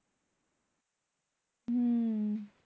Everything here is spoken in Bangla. হম